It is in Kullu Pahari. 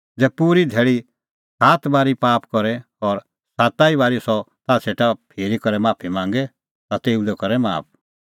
ज़ै पूरी धैल़ी सह साता बारी पाप करे और साता ई बारी सह ताह सेटा फिरी करै माफी मांगे ता तेऊ लै करै माफ